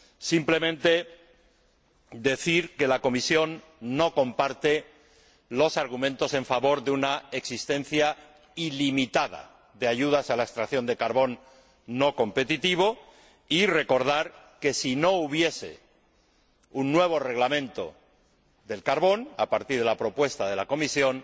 Simplemente he de decir que la Comisión no comparte los argumentos a favor de una existencia ilimitada de ayudas a la extracción de carbón no competitivo y recordar que, si no hubiese un nuevo reglamento del carbón a partir de la propuesta de la Comisión,